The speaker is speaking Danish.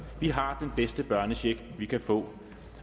vi har bedste børnecheck vi kan få